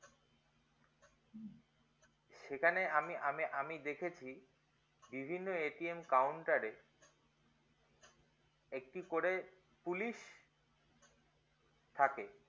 সেখানে আমি আমি আমি দেখছি বিভিন্ন counter এ একটি করে police থাকে